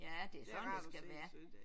Ja det er sådan det skal være